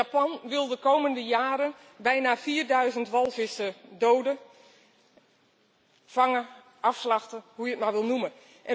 Japan wil de komende jaren bijna 4000 walvissen doden, vangen, afslachten, hoe je het maar wil noemen.